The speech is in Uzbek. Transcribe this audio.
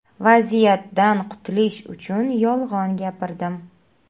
Vaziyatdan qutilish uchun yolg‘on gapirdim.